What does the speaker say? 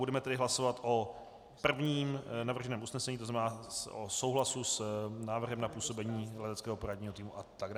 Budeme tedy hlasovat o prvním navrženém usnesení, to znamená o souhlasu s návrhem na působení Leteckého poradního týmu atd.